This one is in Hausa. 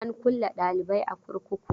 An kulle dalibi a kurkuku.